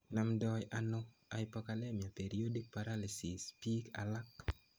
Namdoi ano hypokalemic periodic paralysis piik alak